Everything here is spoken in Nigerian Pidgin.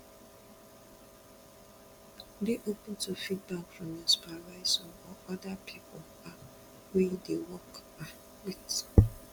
dey open to feedback from your supervisor or oda pipu um wey you dey work um with